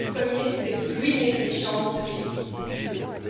Ratifier le premier, c'est ruiner les chances de réussite du second.